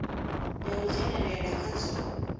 ya u dzhenelela kha zwa